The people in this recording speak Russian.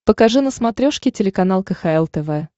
покажи на смотрешке телеканал кхл тв